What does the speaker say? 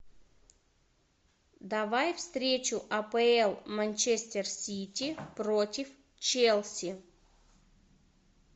давай встречу апл манчестер сити против челси